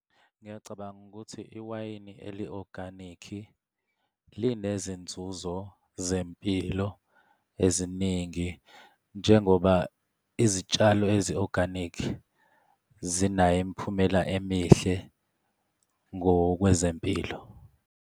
Ngiyacabanga ukuthi iwayini eli-organic linezinzuzo zempilo eziningi njengoba izitshalo ezi-organic zinayo imiphumela emihle ngokwezempilo.